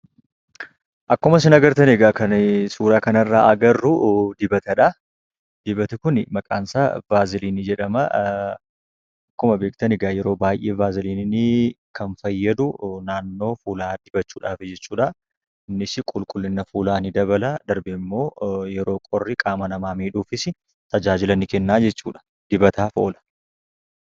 Akkuma isin agartan egaa kan suuraa kana irraa agarru dibatadha. Dibatni kun maqaan isaa "vaaziliinii" jedhama. Akkuma beektan egaa vaaziliiniin kan fayyadu naannoo fuulaa dibachuudhafi jechuudha. Innis qulqullina fuulaa ni dabala. darbees ammoo yeroo qorri qaama namaa miidhuttis tajaajila niikenna jechuudha. Dibataaf oola.